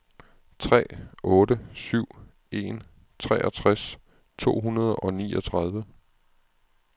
tre otte syv en treogtres to hundrede og niogtredive